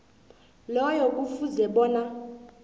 loyo kufuze bona